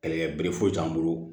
Kɛlɛkɛ bere foyi t'an bolo